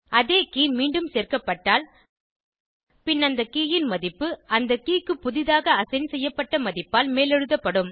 அதே கே மீண்டும் சேர்க்கப்பட்டால் பின் அந்த கே ன் மதிப்பு அந்த கே க்கு புதிதாக அசைன் செய்யப்பட்ட மதிப்பால் மேலெழுத்தப்படும்